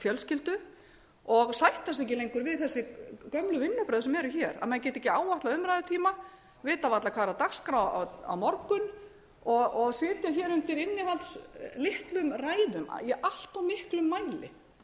fjölskyldu og sætta sig ekki lengur við þessi gömlu vinnubrögð sem eru hér að menn geti ekki áætlað umræðutíma vita varla hvað er á dagskrá á morgun og sitja hér undir innihaldslitlum ræðum í allt of miklum mæli